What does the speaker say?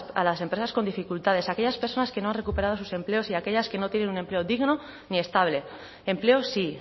a las empresas con dificultades a aquellas personas que no han recuperado sus empleos y aquellas que no tienen un empleo digno ni estable empleo sí